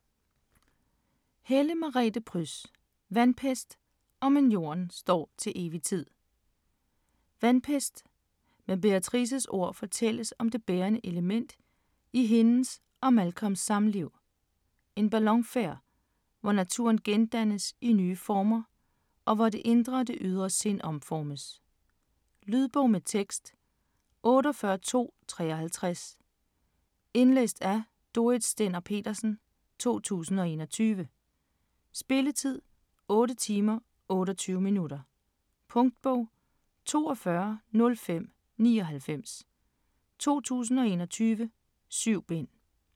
Helle, Merete Pryds: Vandpest & Men jorden står til evig tid Vandpest: Med Beatrices ord fortælles om det bærende element i hendes og Malcolms samliv : en ballonfærd, hvor naturen gendannes i nye former, og hvor det indre og det ydre sind omformes. Lydbog med tekst 48253 Indlæst af Dorrit Stender-Petersen, 2021. Spilletid: 8 timer, 28 minutter. Punktbog 420599 2021. 7 bind.